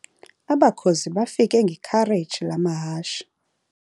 Abakhozi bafike ngekhareji lamahashe.